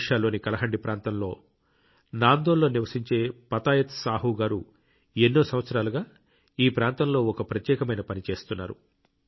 ఒడిషాలోని కలహండి ప్రాంతంలోని నాందోల్ లో నివసించే పతాయత్ సాహు గారు ఎన్నో సంవత్సరాలుగా ఈ ప్రాంతంలో ఒక ప్రత్యేకమైన పని చేస్తున్నారు